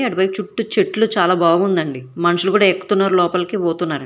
చెట్లు చాలా బాగుందండి మనుషులు కూడా ఎక్కుతున్నారు లోపలికి పోతున్నారు.